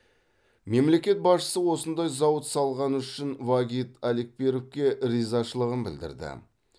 мемлекет басшысы осындай зауыт салғаны үшін вагит алекперовке ризашылығын білдірді